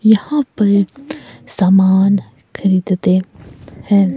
यहां पर सामान खरीदते हैं।